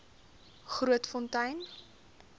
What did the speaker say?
grootfontein